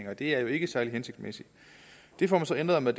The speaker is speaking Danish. og det er jo ikke særlig hensigtsmæssigt det får man så ændret med